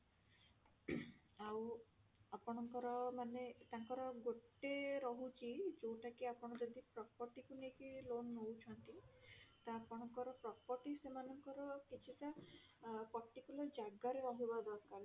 ଆଉ ଆପଣଙ୍କର ମାନେ ତାଙ୍କର ଗୋଟେ ରହୁଛି ଯୋଉଟା କି ଆପଣ ଯଦି property କୁ ନେଇକି loan ନଉଛନ୍ତି ତ ଆପଣଙ୍କର property ସେମାନଙ୍କର କିଛି ଟା ଅ particular ଜାଗାରେ ରହିବା ଦରକାର